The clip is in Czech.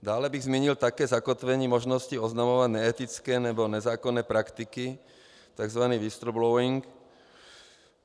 Dále bych zmínil také zakotvení možnosti oznamovat neetické nebo nezákonné praktiky, tzv. whistleblowing.